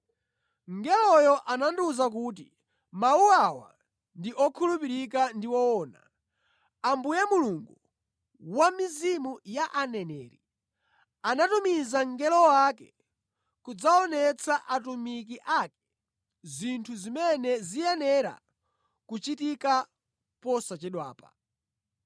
Mngeloyo anandiwuza kuti, “Mawu awa ndi okhulupirika ndi owona. Ambuye Mulungu wa mizimu ya aneneri anatumiza mngelo wake kudzaonetsa atumiki ake zinthu zimene ziyenera kuchitika posachedwapa.”